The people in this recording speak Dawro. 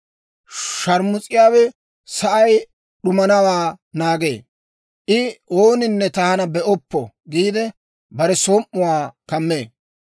Shaarmus'iyaawe sa'ay d'umanawaa naagee; I, ‹Ooninne taana be'oppo› giide, bare som"uwaa kammee.